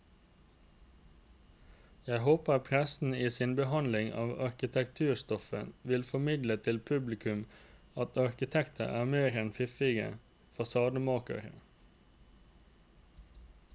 Jeg håper pressen i sin behandling av arkitekturstoffet vil formidle til publikum at arkitekter er mer enn fiffige fasademakere.